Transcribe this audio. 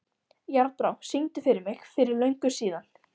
Járnbrá, syngdu fyrir mig „Fyrir löngu síðan“.